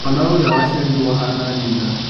Mwana ũrĩa waciarwo ahana nyina.